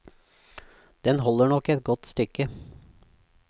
Den holder nok et godt stykke.